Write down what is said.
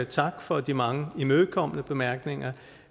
tak for de mange imødekommende bemærkninger